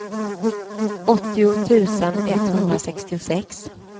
åttio tusen etthundrasextiosex